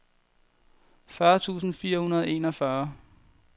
fyrre tusind fire hundrede og enogfyrre